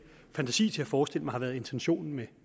fantasi til at forestille mig har været intentionen med